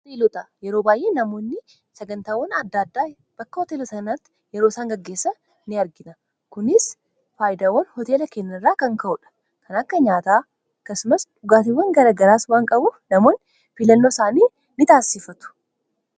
koteelotaa yeroo baay'ee namoonni sagantaawwan addaaddaa bakka hooteela sanaatti yeroo isaan gaggeessa in argina kunis faayidawwan hoteela kenna irraa kan ka'uu dha kana akka nyaataa kasumas dhugaatiwwan garagaraas waan qabu namoon filannoo isaanii in taasiffatu